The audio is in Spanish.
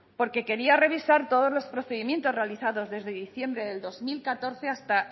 porque quería revisar todos los procedimientos realizados desde diciembre del dos mil catorce hasta